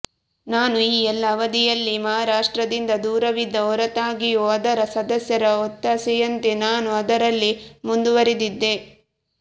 ನಾನು ಈ ಎಲ್ಲಾ ಅವಧಿಯಲ್ಲಿ ಮಹಾರಾಷ್ಟ್ರದಿಂದ ದೂರವಿದ್ದ ಹೊರತಾಗಿಯೂ ಅದರ ಸದಸ್ಯರ ಒತ್ತಾಸೆಯಂತೆ ನಾನು ಆದರಲ್ಲಿ ಮುಂದುವರಿದಿದ್ದೆ